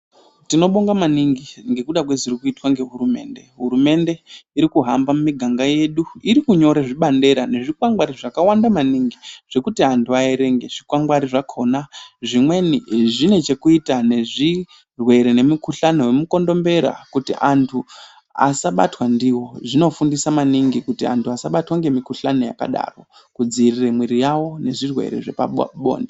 Tinobonga maningi ngekuda kwezvirikutwa ngehurumende. Hurumende irikuhamba mumiganga yedu iri kunyora zvibandera nezvikwangwani zvakawanda maningi zvekuti antu averenge. Zvikwangwani zvakona zvimweni zvine chekuita nezvirwere nemikuhlani vemukondombera kuti antu asabatwa ndiwo zvinofundisa maningi kuti antu asabatwa ngemikuhlani yakadaro, kudzivirire mwiri yavo nezvirwere zvepabonde.